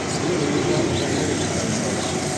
ер руға жасауыл тағайындады